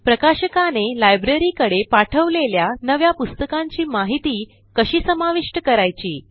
प्रकाशकाने Libraryकडे पाठवलेल्या नव्या पुस्तकांची माहिती कशी समाविष्ट करायची